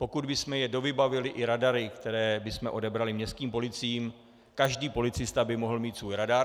Pokud bychom je dovybavili i radary, které bychom odebrali městským policiím, každý policista by mohl mít svůj radar.